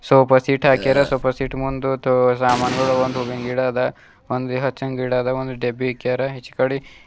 Sofa set ಹಾಕ್ಯಾರ್ sofa set ಮುಂದ ಸಾಮಾನುಗಳು ಒಂದು ಹೂವಿನ ಗಿಡ ಅದ ಒಂದು ಹಚಂದ ಗಿಡ ಅದ ಒಂದು ಡಬ್ಬಿ ಇಕ್ಕ್ಯಾರ ಇಚಕಡಿ.